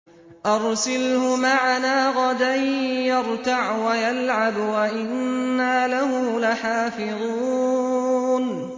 أَرْسِلْهُ مَعَنَا غَدًا يَرْتَعْ وَيَلْعَبْ وَإِنَّا لَهُ لَحَافِظُونَ